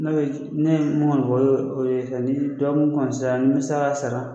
N'o ye n'i y'a ye mun ka nɔgɔ o o de ye sisan ni dɔgɔkun n'u sara